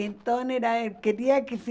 Então era eh queria que